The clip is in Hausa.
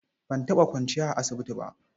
Ban taɓa kwanciya a asibiti ba.